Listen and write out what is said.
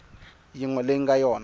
yin we leyi nga yona